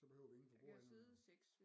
Så behøver vi ingen for bordenden